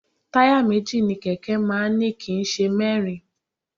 Táyà méjì ni kẹ̀kẹ́ máa ń ní kì í ṣe mẹ́rin